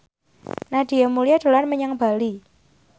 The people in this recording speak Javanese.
Nadia Mulya dolan menyang Bali